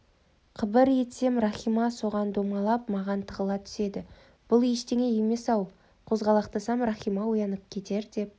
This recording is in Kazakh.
қыбыр етсем рахима соған домалып маған тығыла түседі бұл ештеңе емес-ау қозғалақтасам рахима оянып кетер деп